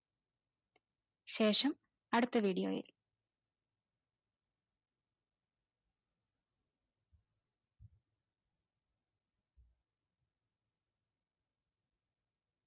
ശേഷം അടുത്ത വേദ് video യിൽ